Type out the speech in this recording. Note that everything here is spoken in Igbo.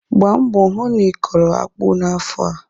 Gbaa mbọ hụ na ị kọrọ akpụ n'afọ a.